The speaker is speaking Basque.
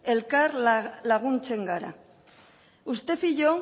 elkar laguntzen gara usted y yo